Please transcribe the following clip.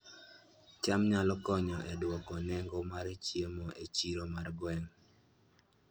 cham nyalo konyo e dwoko nengo mar chiemo e chiro mar gweng'